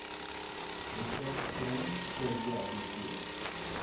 hektaar grond gerehabiliteer